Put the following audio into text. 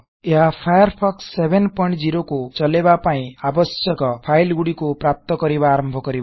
ଏହା ଫାୟାରଫୋକ୍ସ 70 କୁ ଚଳାଇବା ପାଇଁ ଆବଶ୍ୟକ ଫାଇଲ୍ ଗୁଡିକକୁ ପ୍ରାପ୍ତ କରିବା ଆରମ୍ଭ କରିବ